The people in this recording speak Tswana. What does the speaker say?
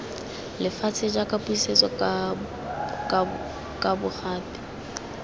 lefatshe jaaka pusetso kabo gape